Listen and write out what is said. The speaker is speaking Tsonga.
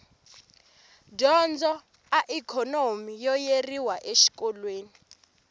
dyondzo a ikhonomi yo yeriwa exikolweni